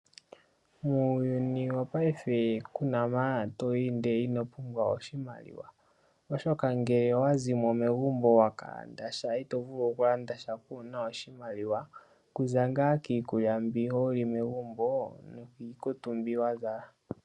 muuyuni wopaife kuna mpa toyi nde inopumbwa oshimaliwa oshoka ngele owa zimo megumbo waka landa sha itovulu okulanda sha kuuna oshimaliwa kuza kiikulya mbi holi megumbo nokiikutu mbi wazala.